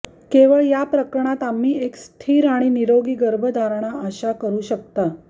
केवळ या प्रकरणात आम्ही एक स्थिर आणि निरोगी गर्भधारणा आशा करू शकता